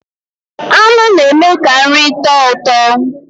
Nnụ na eme ka nri tọọ ụtọ.